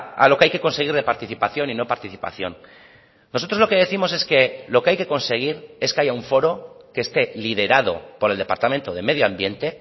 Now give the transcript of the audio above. a lo que hay que conseguir de participación y no participación nosotros lo que décimos es que lo que hay que conseguir es que haya un foro que esté liderado por el departamento de medio ambiente